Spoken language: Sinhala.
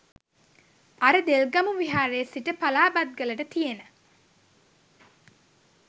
අර දෙල්ගමු විහාරේ සිට පලාබත්ගලට තියෙන